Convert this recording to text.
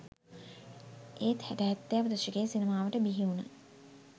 ඒත් හැට හැත්තෑව දශකයේ සිනමාවට බිහිවුණ